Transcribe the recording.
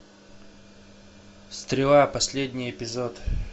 стрела последний эпизод